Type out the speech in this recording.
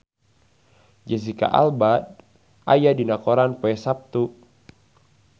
Jesicca Alba aya dina koran poe Saptu